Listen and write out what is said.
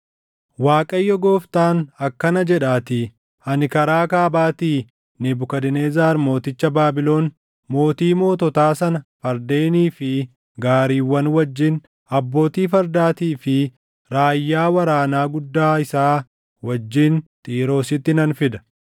“ Waaqayyo Gooftaan akkana jedhaatii: Ani karaa kaabaatii Nebukadnezar mooticha Baabilon, mootii moototaa sana fardeenii fi gaariiwwan wajjin, abbootii fardaatii fi raayyaa waraanaa guddaa isaa wajjin Xiiroositti nan fida.